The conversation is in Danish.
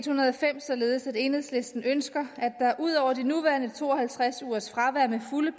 hundrede og fem således at enhedslisten ønsker at der ud over de nuværende to og halvtreds ugers fravær med fulde